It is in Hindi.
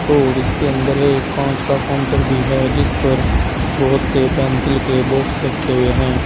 और इसके अंदर एक कांच का काउंटर भी है जिस पर बहुत से पेंसिल के बॉक्स रखे हुए हैं।